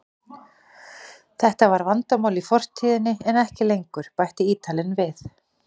Þetta var vandamál í fortíðinni en ekki lengur, bætti Ítalinn við.